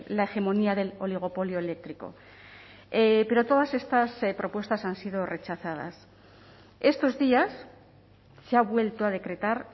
la hegemonía del oligopolio eléctrico pero todas estas propuestas han sido rechazadas estos días se ha vuelto a decretar